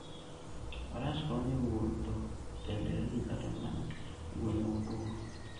Faras konyo e wuotho e nderni kata mana e gwenge motwo.